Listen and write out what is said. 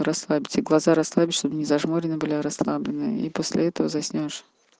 расслабьте глаза расслабить чтобы не зажмуренные были а расслабленные и после этого заснёшь